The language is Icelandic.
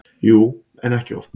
Jú, en ekki oft.